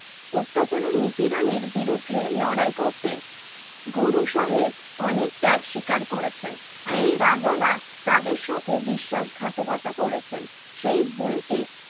অত্যাচার ও নিপীড়নের বিরুদ্ধে লড়াই করতে গুরু সাহেব অনেক ত্যাগ স্বীকার করেছেন এই রাজারা তাদের সাথে বিশ্বাসঘাতকতা করেছেন সেই ভুলকে